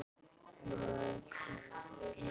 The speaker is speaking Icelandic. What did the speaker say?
Maður, hvað er að gerast?